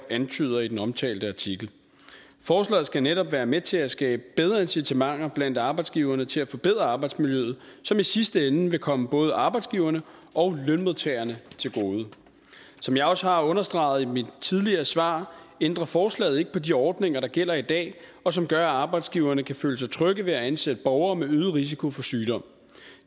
antyder i den omtalte artikel forslaget skal netop være med til at skabe bedre incitamenter blandt arbejdsgiverne til at forbedre arbejdsmiljøet som i sidste ende vil komme både arbejdsgiverne og lønmodtagerne til gode som jeg også har understreget i mit tidligere svar ændrer forslaget ikke på de ordninger der gælder i dag og som gør at arbejdsgiverne kan føle sig trygge ved at ansætte borgere med øget risiko for sygdom